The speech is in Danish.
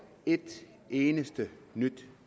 et eneste nyt